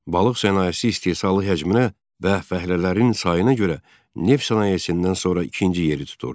Balıq sənayesi istehsalı həcminə və fəhlələrin sayına görə neft sənayesindən sonra ikinci yeri tuturdu.